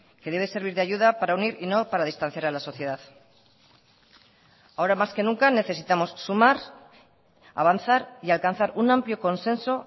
que debe servir de ayuda para unir y no para distanciar a la sociedad ahora más que nunca necesitamos sumar avanzar y alcanzar un amplio consenso